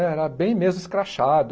Era bem mesmo escrachado.